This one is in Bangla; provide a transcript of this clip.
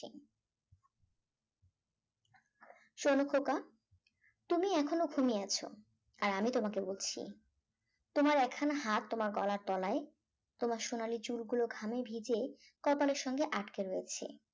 শোন খোকা তুমি এখনও ঘুমিয়ে আছ আর আমি তোমাকে বলছি তোমার একখানা হাত গলার তলায় তোমার সোনালী চুলগুলো ঘামে ভিজে কপালের সঙ্গে আটকে রয়েছে